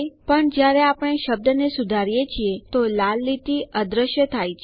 પણ જયારે આપણે શબ્દને સુધારીએ છીએ તો લાલ લીટી અદૃશ્ય થાય છે